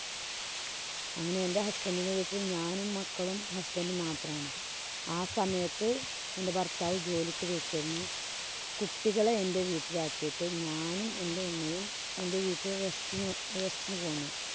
അങ്ങനെ എന്‍റെ husband ന്‍റെ വീട്ടില്‍ ഞാനും, മക്കളും, husband ഉം മാത്രമാണ്. ആ സമയത്ത് എന്‍റെ ഭര്‍ത്താവ് ജോലിക്ക് പോയേക്കാരുന്നു. കുട്ടികളെ എന്‍റെ വീട്ടില്‍ ആക്കിട്ട് ഞാനും, എന്‍റെ ഉമ്മയും എന്‍റെ വീട്ടില് rest ന് പോ rest ന് പോന്നു.